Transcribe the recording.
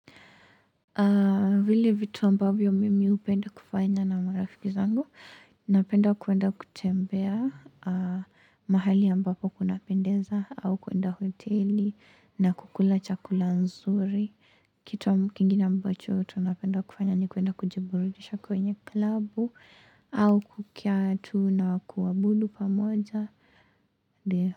Vile vitu ambavyo mimi upenda kufanya na marafiki zangu, napenda kuenda kutembea mahali ambapo kuna pendeza au kuenda hoteli na kukula chakula nzuri, kitu kingine ambacho tunapenda kufanya ni kuenda kujiburudisha kwenye klabu au kukiatu na kuabudu pamoja.